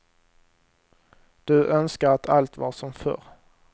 Du önskar att allt var som förr.